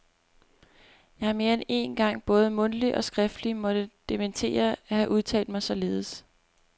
Jeg har mere end én gang både mundtligt og skriftligt måtte dementere at have udtalt mig således.